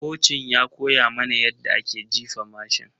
Kocin ya koya mana yadda ake jifa mashin.